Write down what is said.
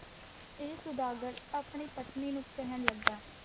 ਫਿਰ ਸੁਦਾਗਰ ਆਪਣੀ ਪਤਨੀ ਨੂੰ ਕਹਿਣ ਲੱਗਾ,